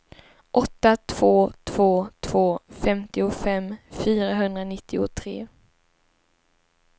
åtta två två två femtiofem fyrahundranittiotre